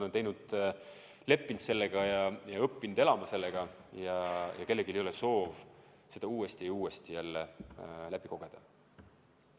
Nad on leppinud sellega ja õppinud elama sellega ja kellelgi ei ole soovi seda uuesti ja uuesti jälle läbi kogeda.